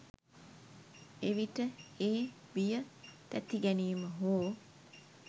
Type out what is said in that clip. එවිට ඒ බිය තැතිගැනීම හෝ